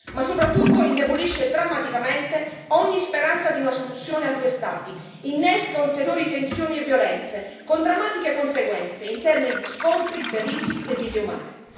Ma soprattutto indebolisce drammaticamente ogni speranza di una soluzione a due Stati, innesca ulteriori tensioni e violenze, con drammatiche conseguenze in termini di scontri, feriti e vite umane.